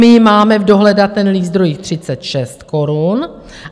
My máme v dohledatelných zdrojích 36 korun.